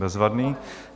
Bezvadný.